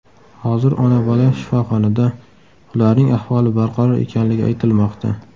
Hozir ona-bola shifoxonada, ularning ahvoli barqaror ekanligi aytilmoqda.